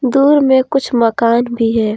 दूर में कुछ मकान भी है।